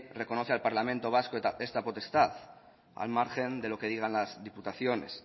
reconoce al parlamento vasco esta potestad al margen de lo que digan las diputaciones